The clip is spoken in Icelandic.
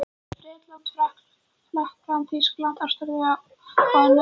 Bretlandi, Frakklandi, Þýskalandi, Ástralíu og á Norðurlöndum.